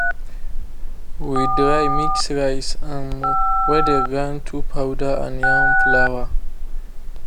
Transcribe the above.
we dry mix rice um wey dey grind to powder and yam flour